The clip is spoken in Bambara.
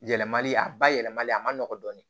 Yɛlɛmali a ba yɛlɛmali a ma nɔgɔ dɔɔnin